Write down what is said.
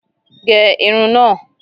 Gé Irun náà!